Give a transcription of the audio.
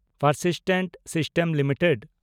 Persistent System limited